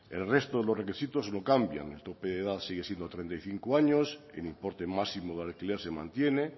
el resto de los requisitos no cambian el tope de edad sigue siendo treinta y cinco años el importe máximo de alquiler se mantiene